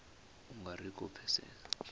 u nga ri khou pfesesa